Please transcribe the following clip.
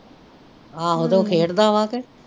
ਆਹੋ ਤੇ ਉਹ ਖੇਡ ਦਾ ਵਾ ਕੇ।